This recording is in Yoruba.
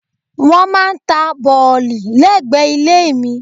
Wọ́n máà ń ta bọ̀lì lẹ́gbẹ̀ẹ́ ilé mi.